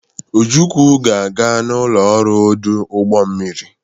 Ojukwu ga-aga n'ụlọ ọrụ ọdụ ụgbọ mmiri.